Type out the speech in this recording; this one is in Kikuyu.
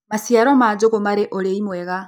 maciaro ma njugu mari urii mwega